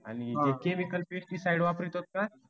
आणि हे chemical side वापरतो का?